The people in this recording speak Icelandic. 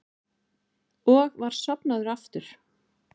Og var sofnaður aftur.